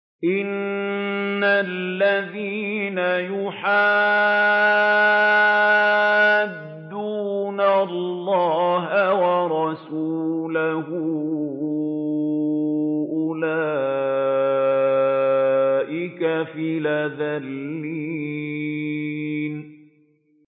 إِنَّ الَّذِينَ يُحَادُّونَ اللَّهَ وَرَسُولَهُ أُولَٰئِكَ فِي الْأَذَلِّينَ